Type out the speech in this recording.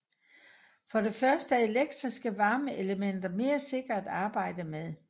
For det første er elektriske varmeelementer mere sikre at arbejde med